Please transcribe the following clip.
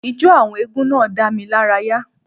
Ijó àwọn eégún náà dá mi lára yà